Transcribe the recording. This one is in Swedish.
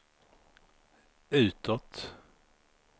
utåt